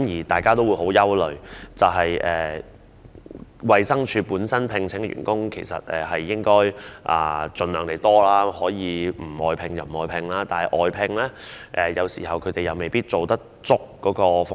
大家也很擔憂，因為由衞生署聘請的員工人數其實應該盡量多一些，盡量不要外判，而且外判員工有時候未必能夠提供足夠的服務。